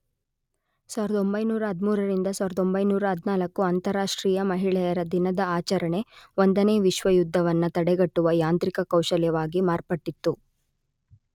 ೧೯೧೩ ರಿಂದ ೧೯೧೪, ಅಂತರಾಷ್ಟ್ರೀಯ ಮಹಿಳೆಯರ ದಿನದ ಆಚರಣೆ ೧ನೇ ವಿಶ್ವ ಯುದ್ಧವನ್ನ ತಡೆಗಟ್ಟುವ ಯಾಂತ್ರಿಕ ಕೌಶಲ್ಯವಾಗಿ ಮಾರ್ಪಟ್ಟಿತು.